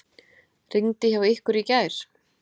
Rigndi hjá ykkur í gær?